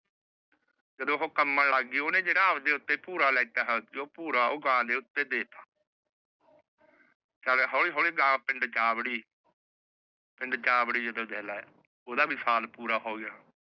ਤੇ ਉਹ ਕੰਭਨ ਲੱਗ ਗਈ। ਓਹਨੇ ਜਿਹੜਾ ਆਪਣੇ ਉੱਤੇ ਭੂਰਾ ਲਿਤਾ ਹੋਇਆ ਸੀ। ਓਹਨੇ ਉਹ ਭੂਰਾ ਗਾ ਦੇ ਉੱਤੇ ਦੇ ਦਿੱਤਾ। ਚੱਲ ਹੋਲੀ ਹੋਲੀ ਗਾ ਪਿੰਡ ਚ ਆ ਵੜੀ ਪਿੰਡ ਚ ਆ ਬੜੀ ਜਦੋ ਜੇਲ ਆਯਾ ਓਦਾ ਵੀ ਸਾਲ ਪੂਰਾ ਹੋਗਿਆ ।